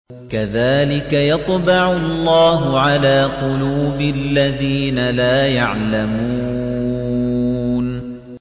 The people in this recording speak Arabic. كَذَٰلِكَ يَطْبَعُ اللَّهُ عَلَىٰ قُلُوبِ الَّذِينَ لَا يَعْلَمُونَ